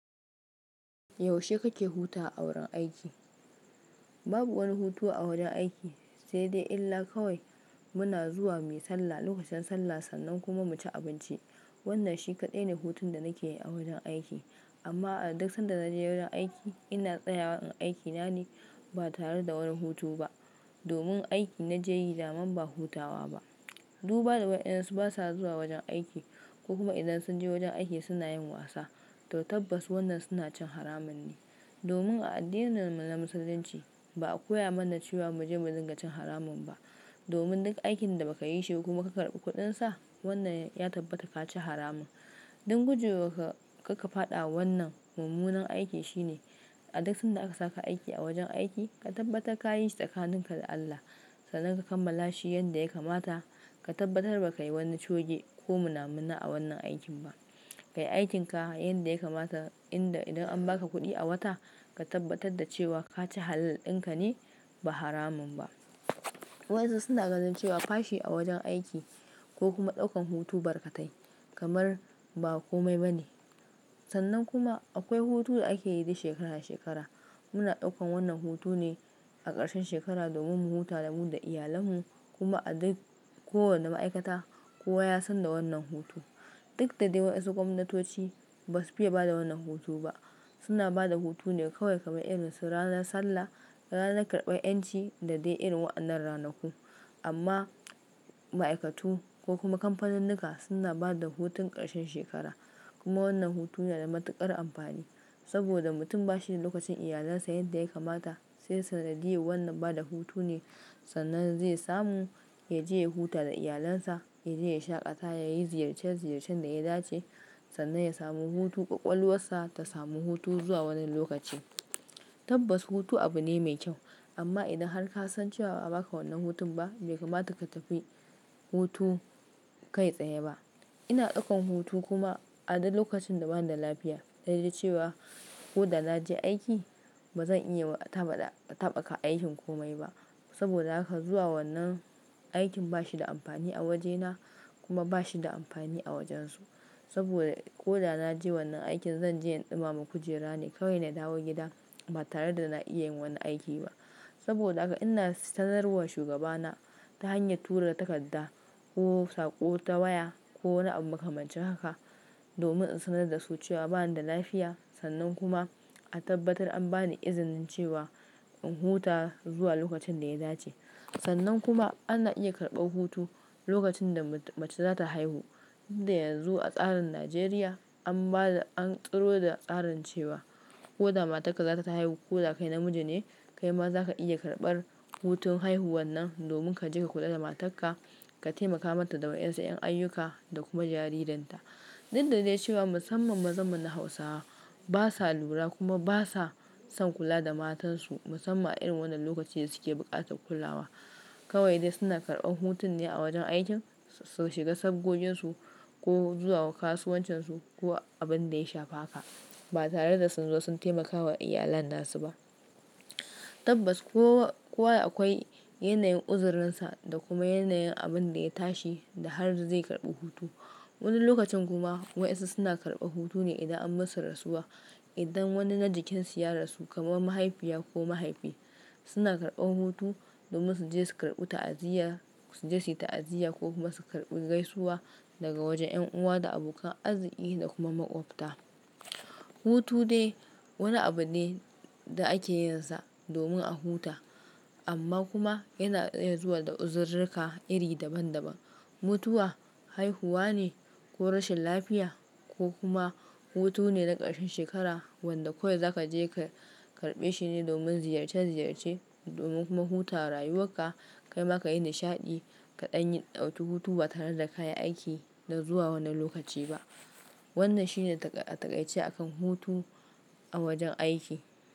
Yaushe kake huta a wurin aiki? Babu wani hutu a wurin aiki, sai dai illa kawai muna zuwa muyi sallah lokacin sallah, sannan kuma mu ci abinci. Wannan shi kaɗai ne hutun da nake yi a wajen aiki. Amma a duk sanda na je wurin aiki, ina tsayawa in aiki na ne ba tare da wani hutu ba. Domin aiki na je yi, daman ba hutawa ba. Duba da waɗansu basa zuwa wajen aiki ko kuma idan sun je wajen aiki suna yin wasa. To tabbas wannan suna cin haramun ne. Domin a addininmu na Musulunci, ba a koya mana cewa mu je mu dinga cin haramun ba. Domin duk aikin da baka yi shi kuma ka karbi kuɗinsa, wannan ya tabbata ka ci haramun. Don gujewa ka, karka faɗa wannan mummunan aiki shine a duk sanda aka saka aiki a wajen aiki, ka tabbatar ka yi shi da ƙaninka da Allah. Sannan ka kammala shi yanda ya kamata. Ka tabbatar baka yi wani choge ko muna muna a wannan aikin ba. Ka yi aikin ka yanda ya kamata inda idan an baka kuɗi a wata, ka tabbatar da cewa ka ci halalin ka ne ba haramun ba. Waɗansu suna ganin cewa fashi a wajen aiki ko kuma ɗaukan hutu barkatai kamar ba komai ba ne. Sannan kuma akwai hutu da ake yi dik shekara shekara. Muna ɗaukan wannan hutune a ƙarshen shekara domin mu huta da mu da iyalarmu kuma a duk ko wanda ma'aikata kowa ya san da wannan hutu. Duk da dai waɗansu gwamnatoci basu fiye bada wannan hutu ba. Suna bada hutune kawai kamar irin su ranar sallah da ranar karɓan 'yanci da dai irin wa'annan ranaku. Amma ma'aikatu ko kuma kamfaninnuka suna bada hutun ƙarshen shekara. Kuma wannan hutu yana da matuƙar amfani saboda mutum bashi da lokacin iyalansa yadda ya kamata. Sai sanadiya wannan bada hutune sannan zai samu ya je ya huta da iyalansa, ya je ya shaƙata, ya yi ziyarce ziyarcen da ya dace sannan ya samu hutu ƙwaƙwalwarsa ta samu hutu zuwa wani lokaci. Tabbas hutu abu ne mai kyau, amma idan har ka san cewa ba a baka wannan hutun ba, bai kamata ka tafi hutu kai tsaye ba. Ina ɗaukan hutu kuma a duk lokacin da bani da lafiya, dai dai cewa ko da na je aiki ba zan iya tabaka aikin komai ba. Saboda haka zuwa wannan aikin bashi da amfani a wajena kuma bashi da amfani a wajensu. Saboda ko da na je wannan aikin zan je in ɗumama kujera ne kawai na dawo gida ba tare da na iya yin wani aiki ba. Saboda haka ina sanarwa shugabana ta hanyar tura takarda ko sako ta waya ko wani abu maka mancin haka domin in sanar da su cewa bani da lafiya. Sannan kuma a tabbatar an bani izinin cewa in huta zuwa lokacin da ya dace. Sannan kuma ana iya karɓan hutu lokacin da mace za ta haihu. Inda yanzu a tsarin Najeriya an bada an tsiro da tsarin cewa ko da matarka za ta haihu ko da kai namiji ne, kai ma za ka iya karɓar hutun haihuwan nan domin ka je ka kula da matarka, ka taimaka mata da wa'insu 'yan ayuka da kuma jaririnta. Duk da dai cewa musamman mazamun na Hausawa basa lura kuma basa son kula da matansu musamman a irin wannan lokaci da suke buƙatar kulawa. Kawai dai suna karɓan hutun ne a wajen aikin su shiga sabgoginsu ko zuwa kasuwancinsu ko abin da ya shafa haka. Ba tare da sun zo sun taimakawa iyalansu ba. Tabbas kowa, kowa akwai yanayin uzurinsa da kuma yanayin abin da ya tashi da har zai karɓi hutu. Wani lokacin kuma waɗansu suna karɓa hutune idan an musu rasuwa. Idan wani na jikinsu ya rasu kamar mahaifiya ko mahaifi, suna karɓan hutu domin su je su karɓi ta'aziyya, su je su yi ta'aziyya ko kuma su karɓi gaisuwa daga wajen 'yan uwa da abokan arziki da kuma maƙwabta. Hutu dai wani abu ne da ake yinsa domin a huta amma kuma yana iya zuwa da uzururruka iri daban daban. Mutuwa, haihuwa ne ko rashin lafiya ko kuma hutune na ƙarshen shekara wanda kawai za ka je ka karɓe shi ne domin ziyarce ziyarce domin kuma huta wa rayuwarka. Kai ma ka yi nishaɗi kaɗan yi ɗauki hutu ba tare da ka yi aiki na zuwa wani lokaci ba. Wannan shine a taƙaice a kan hutu a wajen aiki.